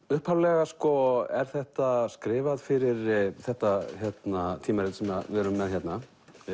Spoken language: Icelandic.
upphaflega sko er þetta skrifað fyrir þetta tímarit sem við erum með hérna